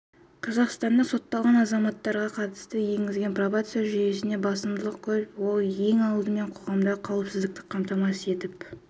қазақстанның сотталған азаматтарға қатысты енгізген пробация жүйесінде басымдықтар көп ол ең алдымен қоғамдағы қауіпсіздікті қамтамасыз етіп